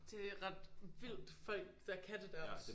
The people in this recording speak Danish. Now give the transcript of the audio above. Det ret vildt folk der kan det der også